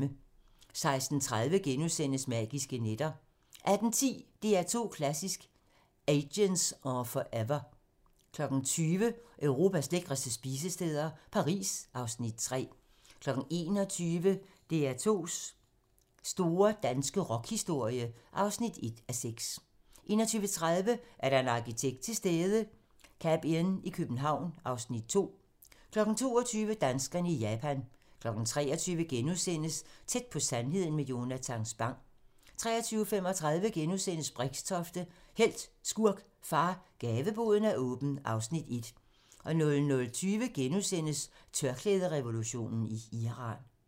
16:30: Magiske nætter * 18:10: DR2 Klassisk: Agents are Forever 20:00: Europas lækreste spisesteder - Paris (Afs. 3) 21:00: DR2's store danske rockhistorie (1:6) 21:30: Er der en arkitekt til stede? - Cabinn i København (Afs. 2) 22:00: Danskerne i Japan 23:00: Tæt på sandheden med Jonatan Spang * 23:35: Brixtofte - helt, skurk, far - Gaveboden er åben (Afs. 1)* 00:20: Tørklæderevolutionen i Iran *